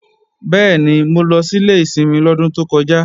Bẹ́ẹ̀ni, mo lọ sílé ìsinmi lọ́dún tó kọjá